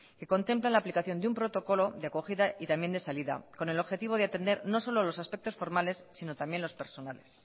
que contemplan la aplicación de un protocolo de acogida y también de salida con el objetivo de atender no solo los aspectos formales sino también los personales